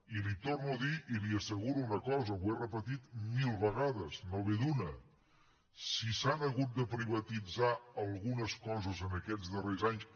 i li torno a dir i li asseguro una cosa ho he repetit mil vegades no ve d’una si s’han hagut de privatitzar algunes coses en aquests darrers anys